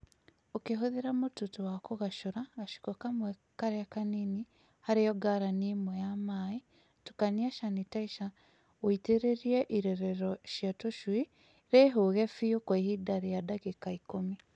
Ukĩhũthĩra mũtutu wa kũgacũra gaciko kamwe karĩa kanini harĩ o ngarani ĩmwe ya maai, tukania canitaica ũitĩrĩrie irerero rĩa tũcui rĩihũge biũ kwa ihinda rĩa ndagĩka ikũmi.